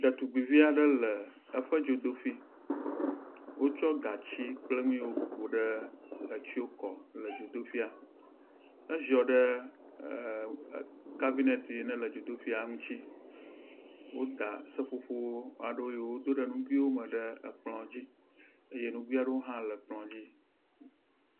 Ɖetugbuivi aɖe le eƒe dzodoƒui. Wotsɔ gatsi kple nu yawo ƒo ɖe etsɔ kɔ le dzodoƒuia, eziɔ ɖe e….e carbineti yi ke le dzodoƒuia ŋuti. Woda seƒoƒo aɖewo yiwo do ɖe ŋugui aɖewo me ɖe kplɔ dzi. Eye nugui aɖeo hã le kplɔ dzi.